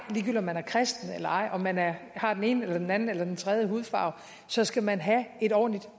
om man er kristen eller ej om man man har den ene eller den anden eller den tredje hudfarve så skal man have et ordentligt